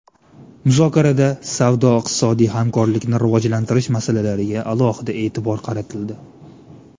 Muzokarada savdo-iqtisodiy hamkorlikni rivojlantirish masalalariga alohida e’tibor qaratildi.